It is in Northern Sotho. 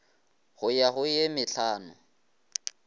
go ya go ye mehlano